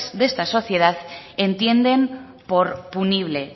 de esta sociedad entienden por punible